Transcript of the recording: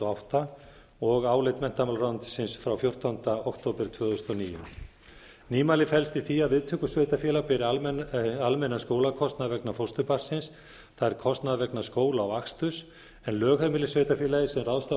átta og álit menntamálaráðuneytisins frá fjórtánda október tvö þúsund og níu nýmælið felst í því að viðtökusveitarfélag beri almennan skólakostnað vegna fósturbarnsins það er kostnaður vegna skóla og aksturs en lögheimilissveitarfélagið sem ráðstafar